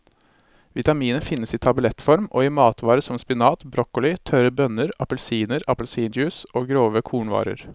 Vitaminet finnes i tablettform og i matvarer som spinat, broccoli, tørre bønner, appelsiner, appelsinjuice og grove kornvarer.